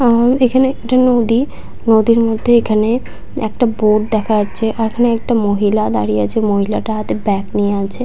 উম এখানে একটা নদী নদীর মধ্যে এখানে একটা বোট দেখা যাচ্ছে আর এখানে একটা মহিলা দাঁড়িয়ে আছে মহিলাটা হাতে ব্যাগ নিয়ে আছে।